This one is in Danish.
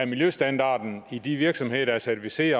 miljøstandarden i de virksomheder der er certificeret i